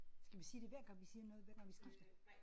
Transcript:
Skal vi sige det hver gang vi siger noget hver gang vi skifter?